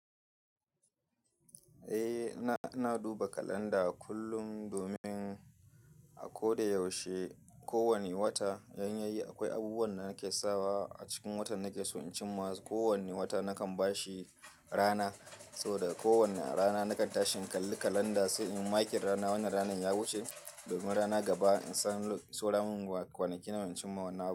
Eh, ina, ina duba kalanda kullum domin a ko da yaushe, kowane wata, yanayi akwai abubuwan da nake sawa a cikin watan nake so in cimma. Kowane wata nakan bashi rana, so da kowane rana nakan tashi in kalli kalanda, so in yi makin rana wannan ranan ya wuce domin rana gaba in san sauran kwanaki nawa in cin ma wannan abu.